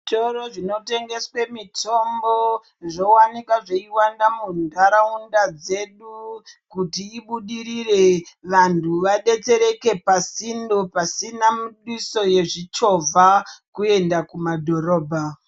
Zvitoro zvinotengesve mitombo, zvowanikwa zviyiwanda mundharawunda dzedu kuti ibudirire, vantu vadetsereke pasindo pasina yezvichova kuyende kumadhorobha.